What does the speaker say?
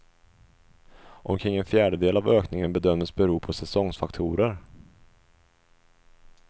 Omkring en fjärdedel av ökningen bedömdes bero på säsongsfaktorer.